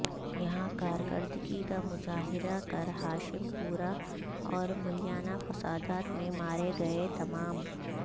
یہاں کارکردگی کا مظاہرہ کر ہاشم پورہ اور ملیانہ فسادات میں مارے گئے تمام